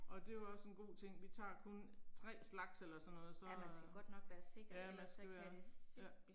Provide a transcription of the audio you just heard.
Og det var også en god ting, vi tager kun 3 slags eller sådan noget så, ja man skal være. Ja